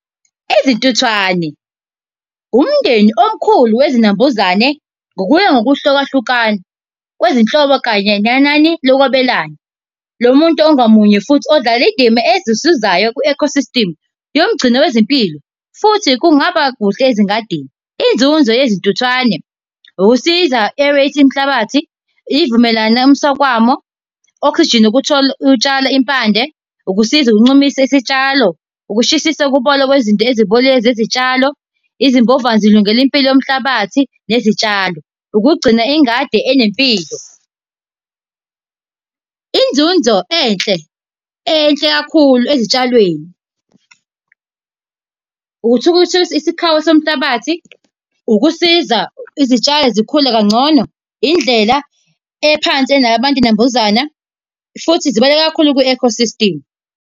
Izintuthwane, umndeni omkhulu wezinambuzane ngokuya ngokuhluka hlukana kwezinhlobo kanye nenani lokwabelana. Lo muntu ongamunye futhi odlala iy'ndima ezisizayo ku-eco system yomgcino wezimpilo futhi kungaba kuhle ezingadini. Inzuzo yezintuthwane ukusiza umhlabathi, ivumelwano umswakamo oxygen ukutshala impande, ukusiza uncumisa isitshalo, ukushisisa ukubola kwezinto ezibolile zezitshalo. Izimbova zilungela impilo yomhlabathi nezitshalo. Ukugcina ingadi enempilo. Inzunzo enhle enhle kakhulu ezitshalweni, uthi ukuthi isikhawu somhlabathi, ukusiza izitshalo zikhule kangcono, indlela ephansi enalabantu nambuzana futhi zibaluleke kakhulu kwi-eco system.